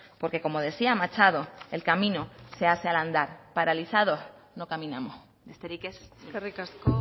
porque como decía machado el camino se hace al andar paralizados no caminamos besterik ez eskerrik asko